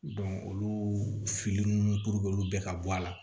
olu fili nunnu olu bɛɛ ka bɔ a la